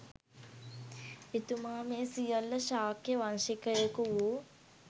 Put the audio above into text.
එතුමා මේ සියල්ල ශාක්‍යවංශිකයකු වූ